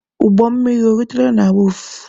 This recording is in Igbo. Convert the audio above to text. Ụgbọ mmiri o rutela na wọọfụ?